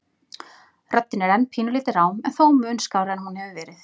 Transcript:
Röddin er enn pínulítið rám en þó mun skárri en hún hefur verið.